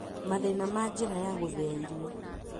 Mathĩna ma njĩra ya gũthĩa irio